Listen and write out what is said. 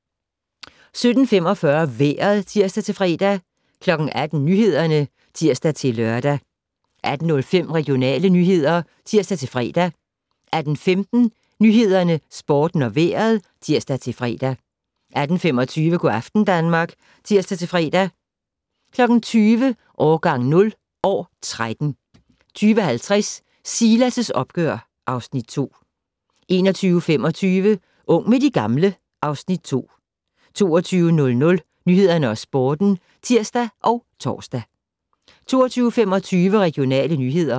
17:45: Vejret (tir-fre) 18:00: Nyhederne (tir-lør) 18:05: Regionale nyheder (tir-fre) 18:15: Nyhederne, Sporten og Vejret (tir-fre) 18:25: Go' aften Danmark (tir-fre) 20:00: Årgang 0 - år 13 20:50: Silas' opgør (Afs. 2) 21:25: Ung med de gamle (Afs. 2) 22:00: Nyhederne og Sporten (tir og tor) 22:25: Regionale nyheder